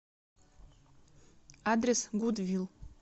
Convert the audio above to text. адрес гудвил